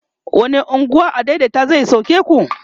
wani unguwa adaidaita zai sauke ku?